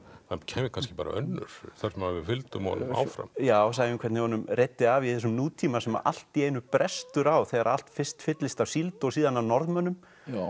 það kæmi kannski önnur þar sem við fylgdum honum áfram já sæjum hvernig honum reiddi af í þessum nútíma sem allt í einu brestur á þegar allt fyrst fyllist af síld og síðan af Norðmönnum